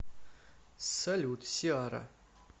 салют сиара